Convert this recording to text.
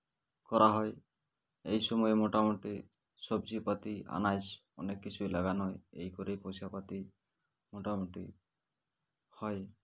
করা হয় এই সময় মোটামুটি সবজিপাতি আনাজ অনেক কিছু লাগানো হয় এই করে পয়সা পাতি মোটামুটি হয়